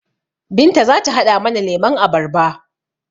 Binta zata haɗa mana lemon abarba